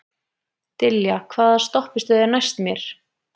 Dilja, hvaða stoppistöð er næst mér?